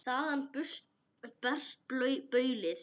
Þaðan barst baulið.